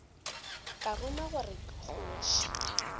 ka ruma gore ke kgoši